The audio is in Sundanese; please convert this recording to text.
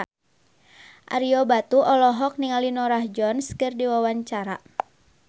Ario Batu olohok ningali Norah Jones keur diwawancara